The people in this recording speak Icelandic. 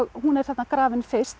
hún er þarna grafin fyrst